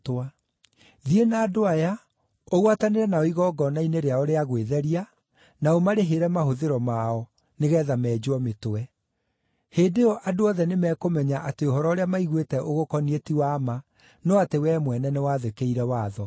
Thiĩ na andũ aya, ũgwatanĩre nao igongona-inĩ rĩao rĩa gwĩtheria, na ũmarĩhĩre mahũthĩro mao, nĩgeetha menjwo mĩtwe. Hĩndĩ ĩyo andũ othe nĩmekũmenya atĩ ũhoro ũrĩa maiguĩte ũgũkoniĩ ti wa ma, no atĩ wee mwene nĩwathĩkĩire watho.